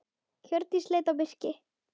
Hjördís leit á Birki.